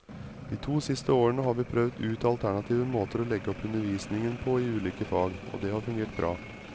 De to siste årene har vi prøvd ut alternative måter å legge opp undervisningen på i ulike fag, og det har fungert bra.